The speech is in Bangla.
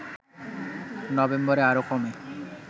নভেম্বরে আরো কমে